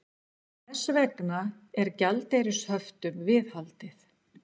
Þess vegna er gjaldeyrishöftum viðhaldið